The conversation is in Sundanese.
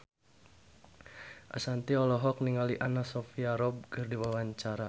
Ashanti olohok ningali Anna Sophia Robb keur diwawancara